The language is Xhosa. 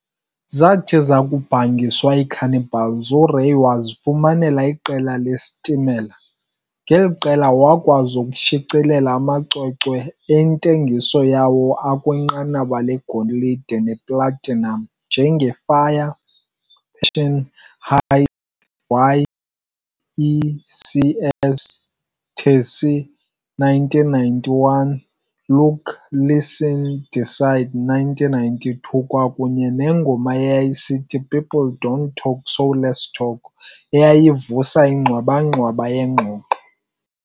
Zathi zakubhangiswa iiCannibals, uRay wazifumanela iqela leStimela, ngeli qela wakwazi ukushicilela amacwecwe antengiso yawo akwinqanaba legolide neplatinum njenge"fire, Passion hide|y|Ecs|tacy", 1991, "Look, listen and decide", 1992, kwakunye nengoma eyayisithi "People Don't Talk So Let's Talk" eyayivusa ingxwaba-ngxwaba yengxoxo.